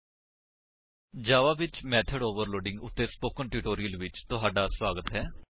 ਜਾਵਾ ਵਿੱਚ method overloading method overloading ਉੱਤੇ spoken tutorial ਵਿੱਚ ਤੁਹਾਡਾ ਸਵਾਗਤ ਹੈ